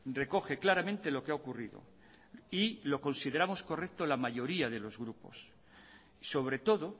recoge claramente lo que ha ocurrido y lo consideramos correcto la mayoría de los grupos sobre todo